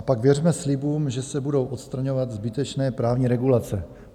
A pak věřme slibům, že se budou odstraňovat zbytečné právní regulace.